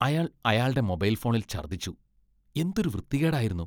അയാൾ അയാൾടെ മൊബൈൽ ഫോണിൽ ഛർദ്ദിച്ചു. എന്തൊരു വൃത്തികേടായിരുന്നു.